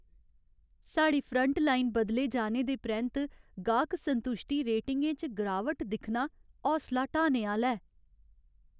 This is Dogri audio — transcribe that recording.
साढ़ी फ्रंटलाइन बदले जाने दे परैंत्त गाह्क संतुश्टि रेटिंगें च गिरावट दिक्खना हौसला ढ्हाने आह्‌ला ऐ।